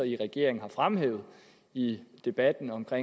i regeringen har fremhævet i debatten om at